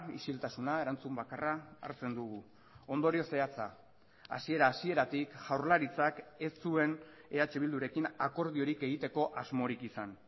isiltasuna erantzun bakarra hartzen dugu ondorio zehatza hasiera hasieratik jaurlaritzak ez zuen eh bildurekin akordiorik egiteko asmorik izan